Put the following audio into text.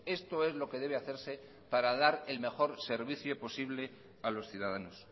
esto es lo que debe hacerse para dar el mejor servicio posible a los ciudadanos